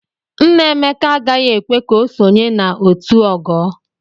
Nna Emeke agaghị ekwe ka o sonye na otu o ogoo.